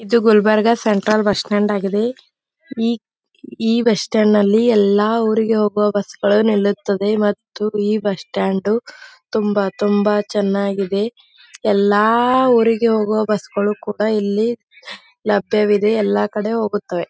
ಇದು Gulbarga central bus stand ಆಗಿದೆ ಈ ಈ ಬಸ್ಸ್ಟ್ಯಾಂಡ್ ಅಲ್ಲಿ ಎಲ್ಲ ಊರಿಗೆ ಹೋಗುವ ಬಸ್ಸ ಗಳು ನಿಲ್ಲುತ್ತದೆ ಮತ್ತು ಈ ಬಸ್ಸ್ಟ್ಯಾಂಡ್ ತುಂಬ ತುಂಬ ಚೆನ್ನಾಗಿದೆ ಎಲ್ಲ ಊರಿಗೆ ಹೋಗುವ ಬಸ್ಸ ಗಳು ಕೂಡ ಇಲ್ಲಿ ಲಭ್ಯವಿದೆ ಎಲ್ಲ ಕೂಡ ಹೋಗುತ್ತದೆ .